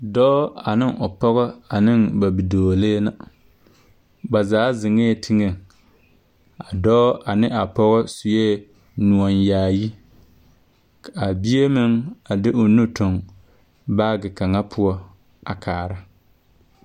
Dɔɔ ane o pɔge ane ba bidɔɔlee na, ba zaa zeŋɛɛ teŋɛŋ, a dɔɔ ane a pɔge sue noɔyaayi. Ka a bie meŋ de o nu toŋ baage kaŋa poɔ a kaara.